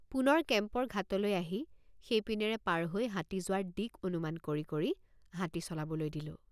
পুনৰ কেম্পৰ ঘাটলৈ আহি সেইপিনেৰে পাৰ হৈ হাতী যোৱাৰ দিক্ অনুমান কৰি কৰি হাতী চলাবলৈ দিলোঁ।